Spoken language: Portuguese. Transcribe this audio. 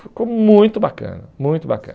Ficou muito bacana, muito bacana.